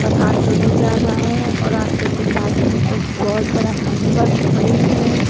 Auto भी जा रहा है और ऑटो के पास में एक बहोत बड़ा बस खड़ी है।